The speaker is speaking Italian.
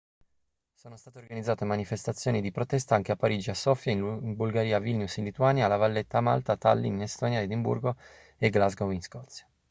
sono state organizzate manifestazioni di protesta anche a parigi a sofia in bulgaria a vilnius in lituania a la valletta a malta a tallinn in estonia e a edimburgo e glasgow in scozia